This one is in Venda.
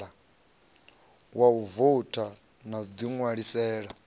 wa u voutha u ḓiṋwalisela